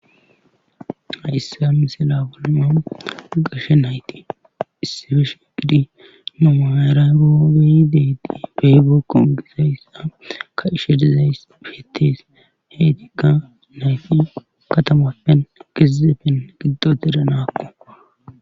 Ayissa amisila buluuman gashe nayti issi feshe gidi numairay boodayideedi beybekkon gisayssa ka ishe dizays ihettes heetikka nayti katamappen gizepfen giddota iranaakko.